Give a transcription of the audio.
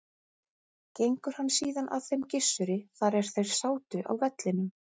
Gengur hann síðan að þeim Gissuri þar er þeir sátu á vellinum.